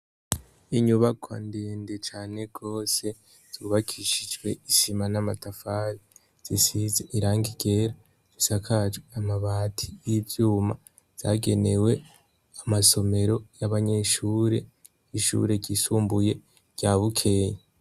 Inyubakwa ndende cane gose yubakishijwe isima namatafari zisize irangi ryera risakajwe amabati nivyuma zagenewe amasomero yabanyeshure ryishure ryisumbuye rya bukeye